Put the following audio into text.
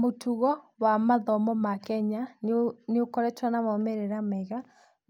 Mũtugo wa mathomo ma Kenya nĩũ, nĩũkoretwo na maumĩrĩra mega,